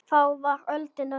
Þá var öldin önnur.